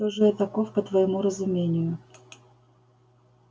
кто же я таков по твоему разумению